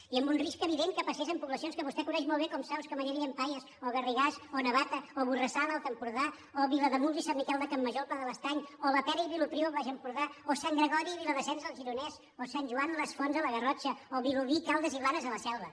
i amb un risc evident que passés en poblacions que vostè coneix molt bé com saus camallera i llampaies o garrigàs o navata o borrassà a l’alt empordà o vilademuls i sant miquel de campmajor al pla de l’estany o la pera i vilopriu al baix empordà o sant gregori i viladasens al gironès o sant joan les fonts a la garrotxa o vilobí caldes i blanes a la selva